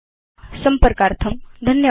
संपर्कार्थं धन्यवादा